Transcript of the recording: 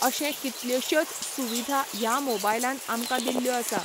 अशें कितल्योश्योच सुविधा ह्या मोबायलान आमकां दिल्ल्यो आसा.